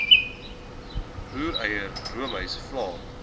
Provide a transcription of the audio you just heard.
roereier roomys vla